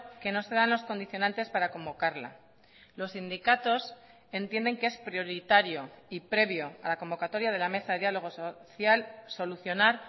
que no se dan los condicionantes para convocarla los sindicatos entienden que es prioritario y previo a la convocatoria de la mesa de diálogo social solucionar